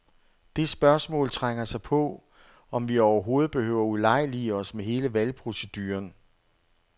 Det spørgsmål trænger sig på, om vi overhovedet behøver ulejlige os med hele valgproceduren.